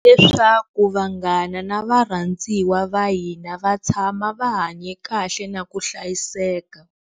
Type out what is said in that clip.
Leswaku vanghana na varhandziwa va hina va tshama va hanye kahle na ku hlayiseka.